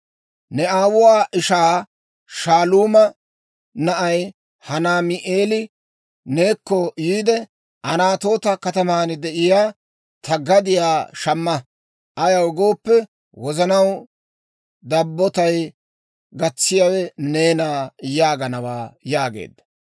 ‹Ne aawuwaa ishaa Shaaluuma na'ay, Hanaami'eeli neekko yiide, «Anatoota kataman de'iyaa ta gadiyaa shamma; ayaw gooppe, wozanaw dabbotay gatsiyaawe neena» yaaganawaa› yaageedda.